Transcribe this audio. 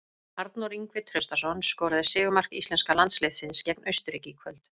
Arnór Ingvi Traustason skoraði sigurmark íslenska landsliðsins gegn Austurríki í kvöld.